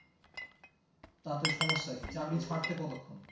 তাতে সমস্যা কি কতক্ষন